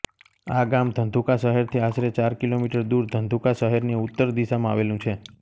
આ ગામ ધંધુકા શહેરથી આશરે ચાર કિલોમીટર દૂર ધંધુકા શહેરની ઉત્તર દિશામાં આવેલું છે